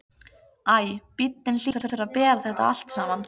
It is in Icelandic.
Æ, bíllinn hlýtur að bera þetta allt saman.